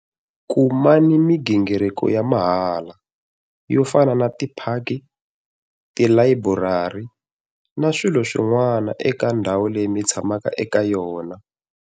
Kumani migingiriko ya mahala, yo fana na tiphaki, tilayiburari na swilo swin'wana eka ndhawu leyi mi tshamaka eka yona.